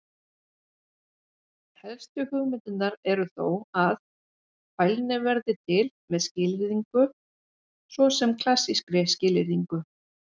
Helstu hugmyndirnar eru þó að: Fælni verði til með skilyrðingu, svo sem klassískri skilyrðingu.